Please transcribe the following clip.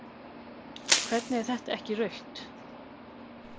Hvernig er þetta ekki rautt?